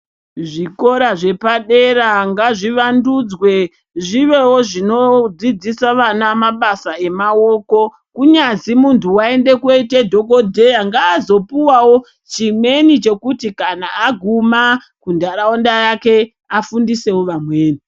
Zvikora zvepadera ngazvivandudzwe zvivewo zvinodzidzisa vana mabasa emaoko kunyazi muntu waende kundoite dhokodheya ngaazopuwawo chimweni chekuti kana aguma muntaraunda yake afundisewo vamweni.